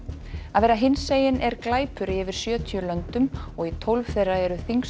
að vera hinsegin er glæpur í yfir sjötíu löndum og í tólf þeirra eru þyngstu